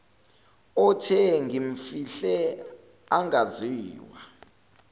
othe ngimfihle angaziwa